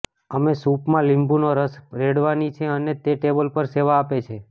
અમે સૂપ માં લીંબુનો રસ રેડવાની છે અને તે ટેબલ પર સેવા આપે છે